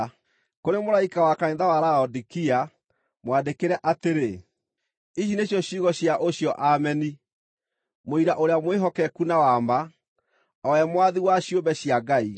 “Kũrĩ mũraika wa kanitha wa Laodikia, mwandĩkĩre atĩrĩ: Ici nĩcio ciugo cia ũcio Ameni, mũira ũrĩa mwĩhokeku na wa ma, o we mwathi wa ciũmbe cia Ngai.